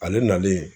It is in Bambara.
Ale nalen